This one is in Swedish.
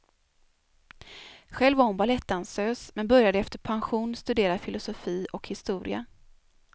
Själv var hon balettdansös men började efter pension studera filosofi och historia.